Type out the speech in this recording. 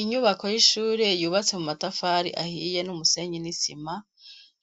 Inyubako y'ishure yubatse mu matafari ahiye n'umusenyii n'isima,